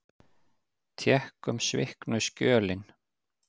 Tékkum sviknu skjölin.